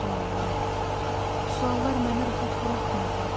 Suallar, suallar məni rahat buraxmırdı.